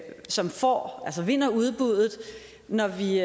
som får altså vinder udbuddet når vi